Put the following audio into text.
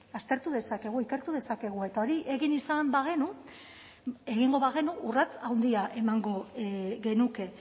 aztertu dezakegu ikertu dezakegu eta hori egin izan bagenu egingo bagenu urrats handia emango genuke